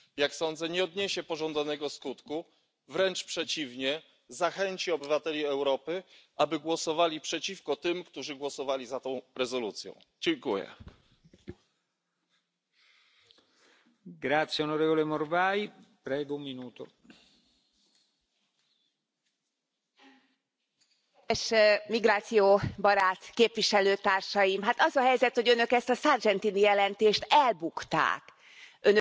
A jelentést, illetve annak nyomán a szerződés hetedik cikkelye szerinti eljárás lehetséges elindítását tehát, kifejezetten az európai szolidaritás megnyilvánulásaként a magyar állampolgárok számára demokratikus jogainak érvényesítéséhez nyújtott segítségként támogattam. Azon leszek, hogy a magyar választók is